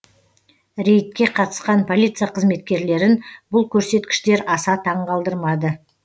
рейдке қатысқан полиция қызметкерлерін бұл көрсеткіштер аса таңғалдырмады